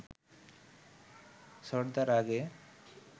ছোটদা রাগে